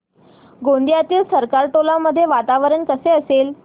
गोंदियातील सरकारटोला मध्ये वातावरण कसे असेल